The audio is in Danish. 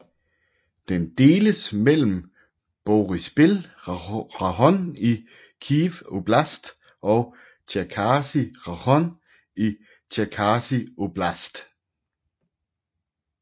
Den deles mellem Boryspil rajon i Kyiv oblast og Tjerkasy rajon i Tjerkasy oblast